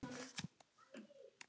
spyr Edda á móti.